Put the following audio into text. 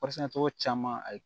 togo caman ayi